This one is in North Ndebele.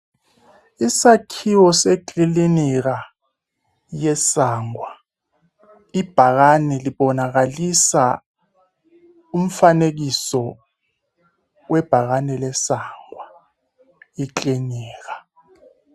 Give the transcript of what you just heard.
Isakhiwo sekilinika yeSangwa, ibhakani libonakalisa umfanekiso webhakani leSangwa ekilinika.